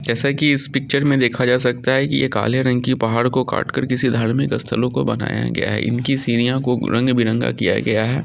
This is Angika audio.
जैसा कि इस पिच्चर में देखा जा सकता है यह काले रंग के पहाड़ को काटकर किसी धार्मिक स्थलों को बनाया गया है इन की सीढ़ियां को रंग-विरंगा किया गया है।